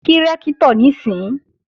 Kí Rẹ́ktọ̀ níìsín!